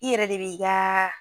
I yɛrɛ de b'i gaa